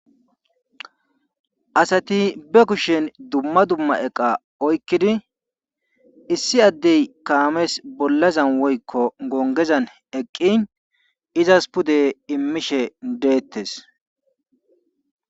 Asati be kushen dumma dumma eqa oykkidi issi addey kaames bollazan woykko gonggezan eqqin izas pude immishe deettees.